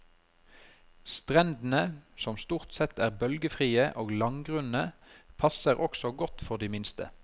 Strendene, som stort sett er bølgefrie og langgrunne, passer også godt for de minste.